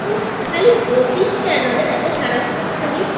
উফ খালি বকিস কেন রে এত সারাক্ষণ খালি